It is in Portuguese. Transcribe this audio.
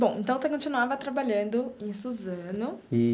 Bom, então, você continuava trabalhando em Suzano.